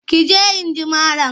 Ki je in ji malam!